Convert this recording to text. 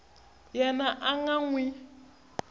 yena a nga n wi